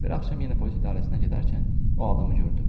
Bir axşam yenə polis idarəsinə gedərkən o adamı gördüm.